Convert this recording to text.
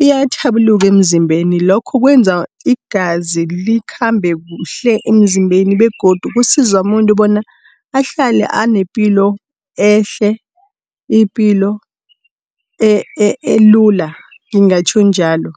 uyatjhabuluka emzimbeni lokho kwenza igazi likhambe kuhle emzimbeni begodu kusiza muntu bona ahlale anepilo ehle, ipilo elula ngingatjho njalo.